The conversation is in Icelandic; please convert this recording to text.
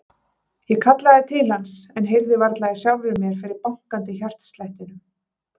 Ég kallaði til hans en heyrði varla í sjálfri mér fyrir bankandi hjartslættinum.